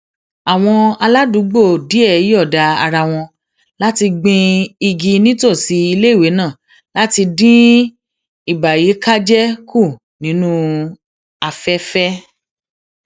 àwọn aládùúgbò díẹ yòọda ara wọn láti gbin igi nítòsí iléìwé náà láti dín ìbàyíkájé kù nínú afẹfẹ